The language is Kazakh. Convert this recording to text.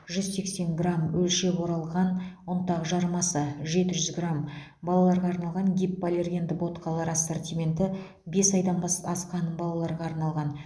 жүз сексен грамм өлшеп оралған ұнтақ жармасы жеті жүз грамм балаларға арналған гипоаллергенді ботқалар ассортименті бес айдан асқан балаларға арналған